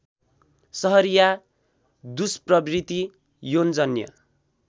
सहरिया दुष्प्रवृत्ति यौनजन्य